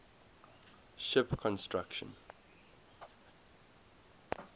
ship construction